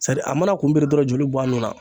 Sadi mana kun biri dɔrɔn joli be bɔ a nun na